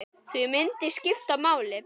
Því myndir skipta máli.